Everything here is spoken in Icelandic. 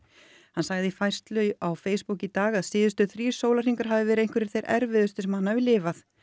hann sagði í færslu á Facebook í dag að síðustu þrír sólarhringar hafi verið einhverjir þeir erfiðustu sem hann hafi lifað